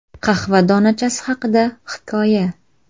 Qahva donachasi haqida hikoya.